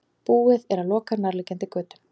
Búið er að loka nærliggjandi götum